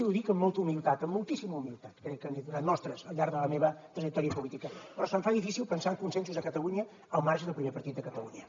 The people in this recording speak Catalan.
ho dic amb molta humilitat amb moltíssima humilitat crec que n’he donat mostres al llarg de la meva trajectòria política però se’m fa difícil pensar en consensos a catalunya al marge del primer partit de catalunya